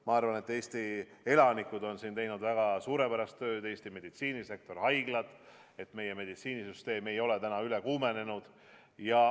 Ma arvan, et Eesti elanikud on siin teinud suurepärast tööd, samuti Eesti meditsiinisektor, haiglad, et meie meditsiinisüsteem ei ole täna ülekoormatud.